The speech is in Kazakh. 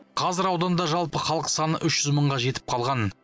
қазір ауданда жалпы халық саны үш жүз мыңға жетіп қалған